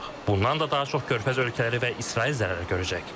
Bundan da daha çox Körfəz ölkələri və İsrail zərər görəcək.